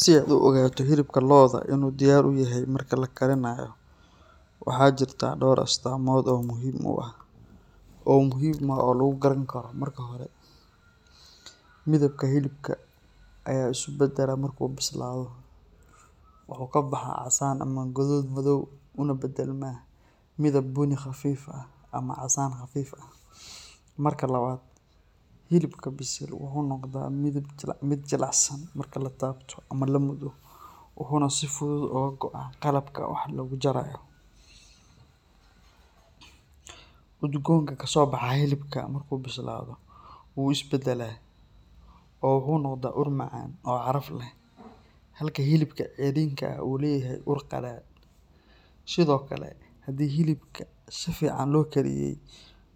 Si aad u ogaato hilibka lo’da inuu diyaar u yahay marka la karinayo, waxa jirta dhowr astaamood oo muhiim ah oo lagu garan karo. Marka hore, midabka hilibka ayaa isu beddela marka uu bislaado; wuxuu ka baxaa casaan ama guduud madow una beddelmaa midab bunni khafiif ah ama casaan khafiif ah. Marka labaad, hilibka bisil wuxuu noqdaa mid jilicsan marka la taabto ama la muddo, wuxuuna si fudud uga go’aa qalabka wax lagu jarayo. Udgoonka kasoo baxa hilibka markuu bislaado wuu is beddelaa oo wuxuu noqdaa ur macaan oo caraf leh, halka hilibka ceyriinka ah uu leeyahay ur qadhaadh. Sidoo kale, haddii hilibka si fiican loo kariyay,